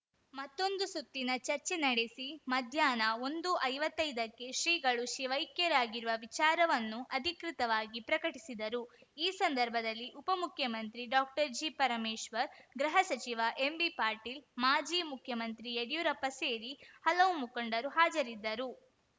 ಮತ್ತೊಂದು ಸುತ್ತಿನ ಚರ್ಚೆ ನಡೆಸಿ ಮಧ್ಯಾಹ್ನ ಒಂದುಐವತ್ತೈದಕ್ಕೆ ಶ್ರೀಗಳು ಶಿವೈಕ್ಯರಾಗಿರುವ ವಿಚಾರವನ್ನು ಅಧಿಕೃತಾಗಿ ಪ್ರಕಟಿಸಿದರು ಈ ಸಂದರ್ಭದಲ್ಲಿ ಉಪಮುಖ್ಯಮಂತ್ರಿ ಡಾಕ್ಟರ್ಜಿ ಪರಮೇಶ್ವರ್‌ ಗೃಹಸಚಿವ ಎಂಬಿಪಾಟೀಲ್‌ ಮಾಜಿ ಮುಖ್ಯಮಂತ್ರಿ ಯಡಿಯೂರಪ್ಪ ಸೇರಿ ಹಲವು ಮುಖಂಡರು ಹಾಜರಿದ್ದರು